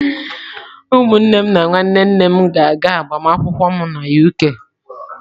Ụmụnne m na nwanne nne m ga-aga agbamakwụkwọ m na UK.